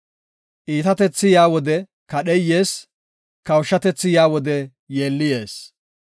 Iitatethi yaa wode kadhey yees; kawushatethi yaa wode yeelli yees.